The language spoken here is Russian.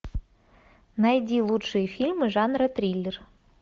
найди лучшие фильмы жанра триллер